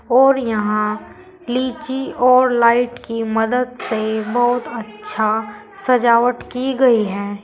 और यहां लीची और लाइट की मदद से बहुत अच्छा सजावट की गई है।